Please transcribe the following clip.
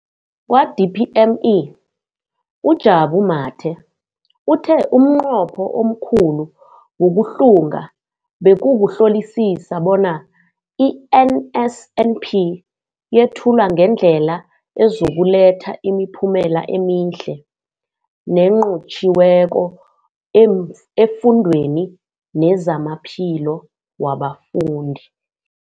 Kwa-DPME, uJabu Mathe, uthe umnqopho omkhulu wokuhlunga bekukuhlolisisa bona i-NSNP yethulwa ngendlela ezokuletha imiphumela emihle nenqotjhiweko efundweni nezamaphilo wabafundi.